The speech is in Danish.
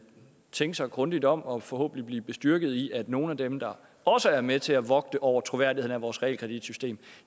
tænke sig grundigt om og forhåbentlig blive bestyrket i at nogle af dem der også er med til at vogte over troværdigheden af vores realkreditsystem